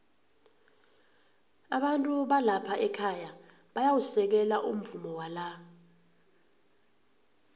abantu balapha ekhaya bayawusekela umvumo wala